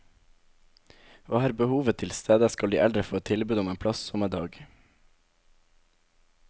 Og er behovet tilstede, skal de eldre få et tilbud om en plass samme dag.